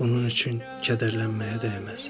Bunun üçün kədərlənməyə dəyməz.